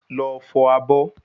Lọ fọ̀ abọ́